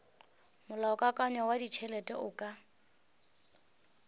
molaokakanywa wa ditšhelete o ka